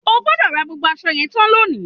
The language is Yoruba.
O gbọ́dọ̀ rán gbogbo aṣọ yẹn tán lónìí!